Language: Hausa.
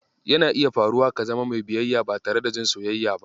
Yana iya faruwa ka zama mai bayayya ba tare da jin soyayya ba.